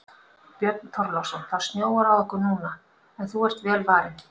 Björn Þorláksson: Það snjóar á okkur núna en þú ert vel varin?